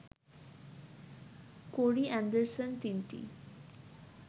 কোরি Anderson তিনটি